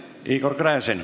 Igor Gräzin.